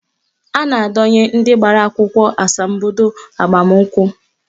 A na-adọnye ndị gbara akwụkwọ asambodo agbamakwụkwọ